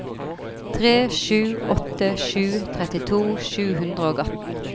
tre sju åtte sju trettito sju hundre og atten